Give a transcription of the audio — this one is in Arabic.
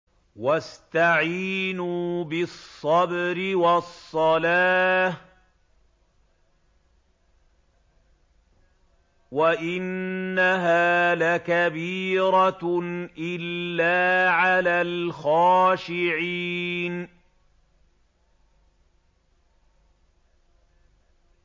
وَاسْتَعِينُوا بِالصَّبْرِ وَالصَّلَاةِ ۚ وَإِنَّهَا لَكَبِيرَةٌ إِلَّا عَلَى الْخَاشِعِينَ